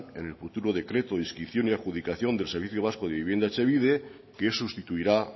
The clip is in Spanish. en el futuro decreto de inscripción y adjudicación del servicio vasco de vivienda etxebide que sustituirá